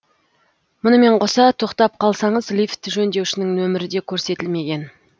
мұнымен қоса тоқтап қалсаңыз лифт жөндеушінің нөмірі де көрсетілмеген